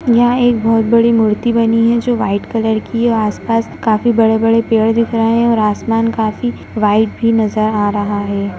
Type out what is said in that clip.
यहाँ एक बहोत बड़ी मूर्ति बनी है जो वाइट कलर की है आस-पास काफी बड़े-बड़े पेड़ दिख रहे हैं और आसमान काफी वाइट भी नजर आ रहा है।